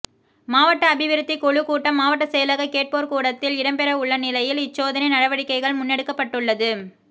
மாவட்ட அபிவிருத்திகுழு கூட்டம் மாவட்ட செயலக கேட்போர்கூடத்தில் இடம்பெறவுள்ள நிலையில் இச் சோதனை நடவடிக்கைகள் முன்னெடுக்கப்பட்டுள்ளது